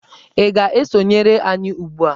Ị ga-esonyere anyị ugbu a!